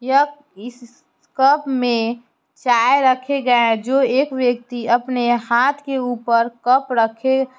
इस स कप में चाय रखे गए है जो एक व्यक्ति अपने हाथ के ऊपर कप रखे --